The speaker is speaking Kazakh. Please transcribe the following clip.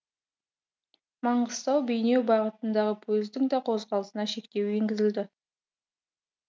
маңғыстау бейнеу бағытындағы пойыздың да қозғалысына шектеу енгізілді